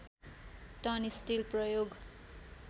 ton steel प्रयोग